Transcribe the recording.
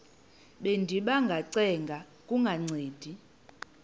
bendiba ngacenga kungancedi